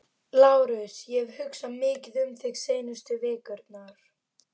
Þeir litu út fyrir að vera fúnir.